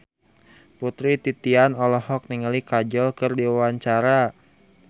Putri Titian olohok ningali Kajol keur diwawancara